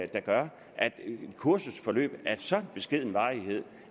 der gør at et kursusforløb af så beskeden varighed